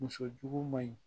Muso jugu man ɲi